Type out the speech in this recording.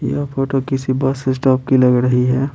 यह फोटो किसी bus stop की लग रही है।